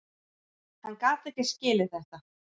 Hann gat ekki skilið þetta.